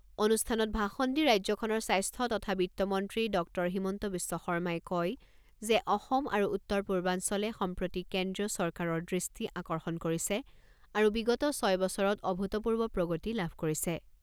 অনুষ্ঠানত ভাষণ দি ৰাজ্যখনৰ স্বাস্থ্য তথা বিত্তমন্ত্ৰী ডক্টৰ হিমন্ত বিশ্ব শৰ্মাই কয় যে অসম আৰু উত্তৰ পূৰ্বাঞ্চলে সম্প্ৰতি কেন্দ্ৰীয় চৰকাৰৰ দৃষ্টি আকৰ্ষণ কৰিছে আৰু বিগত ছয় বছৰত অভূতপূৰ্ব প্ৰগতি লাভ কৰিছে।